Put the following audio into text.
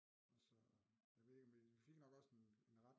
Og så jeg ved ikke vi fik nok også en ret